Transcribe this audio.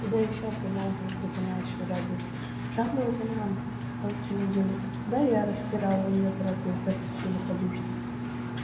да ещё примолвил запинаясь урядник жалует он вам полтину денег да я растерял её дорогую простите великодушно